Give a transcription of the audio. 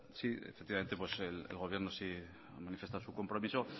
sí efectivamente pues el gobierno sí manifiesta su compromiso